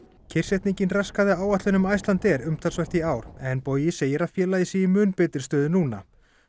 kyrrsetningin raskaði áætlunum Icelandair umtalsvert í ár en Bogi segir að félagið sé í mun betri stöðu núna